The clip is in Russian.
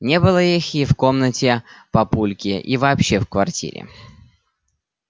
не было их и в комнате папульки и вообще в квартире